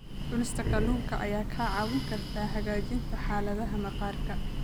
Cunista kalluunka ayaa kaa caawin karta hagaajinta xaaladda maqaarka.